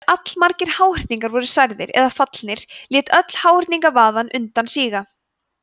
þegar allmargir háhyrningar voru særðir eða fallnir lét öll háhyrningavaðan undan síga